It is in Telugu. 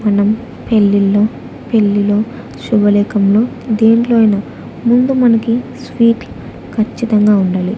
మనం పెళ్ళిళ్లో పెళ్ళిలో శుభలేఖంలో దేంట్లో అయిన ముందు మనకి స్వీట్ల్ ఖచ్చితంగా ఉండాలి.